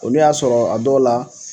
Olu y'a sɔrɔ a dɔ la.